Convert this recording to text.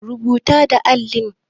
Rubata da allin.